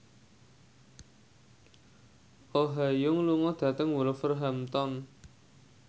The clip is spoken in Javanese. Oh Ha Young lunga dhateng Wolverhampton